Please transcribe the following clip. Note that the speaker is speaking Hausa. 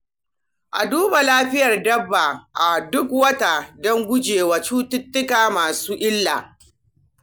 A duba lafiyar dabba a duk wata don guje wa cututtuka masu illa.